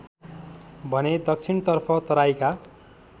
भने दक्षिणतर्फ तराईका